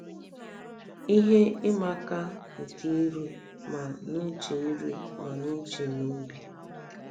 Ihe ịma aka nke iru ma n'uche iru ma n'uche na obi